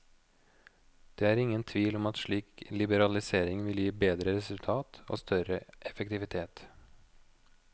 Det er ingen tvil om at slik liberalisering vil gi bedre resultat og større effektivitet.